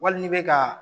Wali n'i bɛ ka